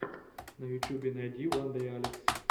на ютьюбе найди вандэйалекс